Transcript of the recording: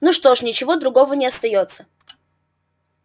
ну что ж ничего другого не остаётся